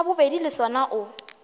sa bobedi le sona o